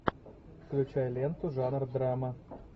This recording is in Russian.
включай ленту жанр драма